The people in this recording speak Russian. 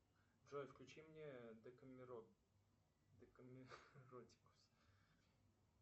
салют включи восемьсот восемь